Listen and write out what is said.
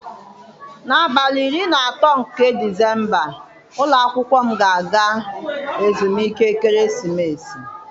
N'abalị iri na atọ nke Disemba ụlọ akwụkwọ anyị ga-aga ezumike ekeresimesi.